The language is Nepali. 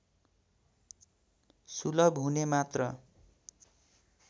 सुलभ हुने मात्र